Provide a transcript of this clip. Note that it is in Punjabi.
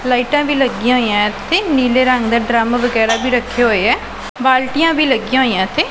ਲਾਈਟਾਂ ਵੀ ਲੱਗਿਆਂ ਹੋਈਆਂ ਇੱਥੇ ਨੀਲੇ ਰੰਗ ਦਾ ਡਰੱਮ ਵਗੈਰਾ ਵੀ ਰੱਖੇ ਹੋਏਆ ਬਾਲਟੀਆਂ ਵੀ ਲੱਗਿਆਂ ਹੋਈਆਂ ਇੱਥੇ।